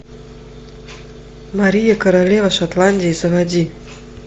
мария королева шотландии заводи